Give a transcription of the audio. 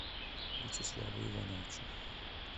вячеславу ивановичу